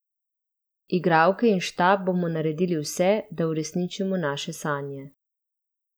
Igralke in štab bomo naredili vse, da uresničimo naše sanje.